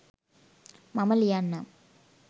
මම ලියන්නම්.